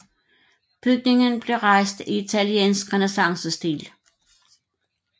Bygningen blev rejst i italiensk renæssancestil